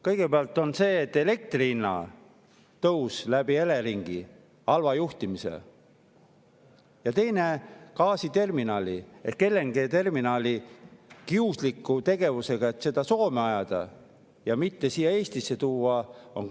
Kõigepealt oli elektri hinna tõus Eleringi halva juhtimise tõttu, ja teiseks, gaasiterminali ehk LNG‑terminali puhul kiuslik tegevus, et see Soome ajada ja mitte siia Eestisse tuua.